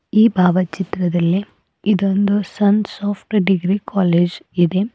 ಈ ಭಾವಚಿತ್ರದಲ್ಲಿ ಇದೊಂದು ಸನ್ ಸಾಫ್ಟ ಡಿಗ್ರಿ ಕಾಲೇಜ್ ಇದೆ.